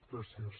gràcies